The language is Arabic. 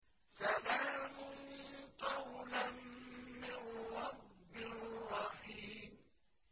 سَلَامٌ قَوْلًا مِّن رَّبٍّ رَّحِيمٍ